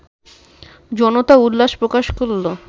জনতা উল্লাস প্রকাশ করলো